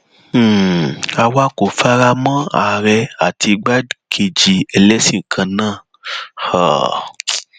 um àwa kò fara mọ àárẹ àti igbákejì ẹlẹsìn kan náà um